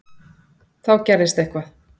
Þá gerðist eitthvað.